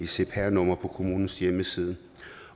cpr nummer på kommunens hjemmeside